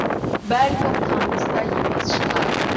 бәлкім таныс та емес шығар